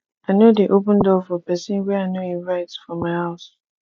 i no dey open door for pesin wey i no invite for my house